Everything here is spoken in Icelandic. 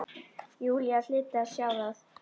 Júlía hlyti að sjá það.